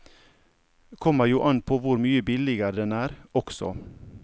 Kommer jo an på hvor mye billigere den er, også.